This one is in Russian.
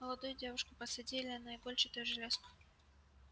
молодую девушку посадили на игольчатую железку